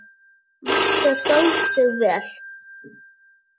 Marta stóð sig vel.